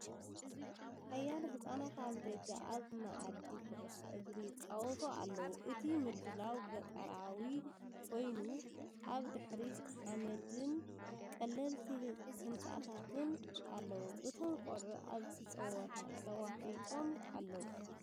ሓያሎ ህጻናት ኣብ ደገ ኣብ መኣዲ ኩዕሶ እግሪ ይጻወቱ ኣለዉ። እቲ ምድላው ገጠራዊ ኮይኑ፡ ኣብ ድሕሪት ሓመድን ቀለልቲ ህንጻታትን ኣለዉ። እቶም ቆልዑ ኣብቲ ጸወታ ተዋሒጦም ኣለዉ።